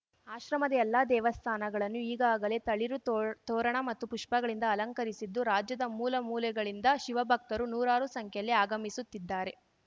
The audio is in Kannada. ಆಶ್ರಮದ ಎಲ್ಲಾ ದೇವಸ್ಥಾನಗಳನ್ನು ಈಗಾಗಲೇ ತಳಿರು ತೋ ತೋರಣ ಮತ್ತು ಪುಪ್ಪಗಳಿಂದ ಅಲಂಕರಿಸಿದ್ದು ರಾಜ್ಯದ ಮೂಲ ಮೂಲೆಗಳಿಂದ ಶಿವ ಭಕ್ತರು ನೂರಾರು ಸಂಖ್ಯೆಯಲ್ಲಿ ಆಗಮಿಸುತ್ತಿದ್ಧಾರೆ